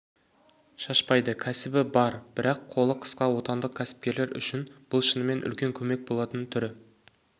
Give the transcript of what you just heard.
шашпайды кәсібі бар бірақ қолы қысқа отандық кәсіпкерлер үшін бұл шынымен үлкен көмек болатын түрі